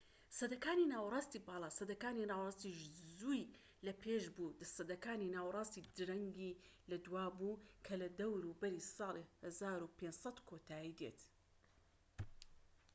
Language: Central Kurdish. سەدەکانی ناوەڕاستی باڵا سەدەکانی ناوەڕاستی زووی لە پێش بوو و سەدەکانی ناوەڕاستی درەنگی لە دوا بوو کە لە دەوروبەری ساڵی 1500 کۆتایی دێت